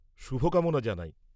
-শুভকামনা জানাই।